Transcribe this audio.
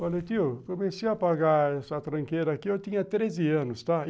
Falei, tio, comecei a pagar essa tranqueira aqui, eu tinha treze anos, tá?